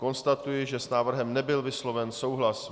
Konstatuji, že s návrhem nebyl vysloven souhlas.